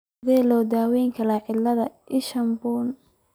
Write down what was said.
Sidee loo daweyaa cillada isha bunni?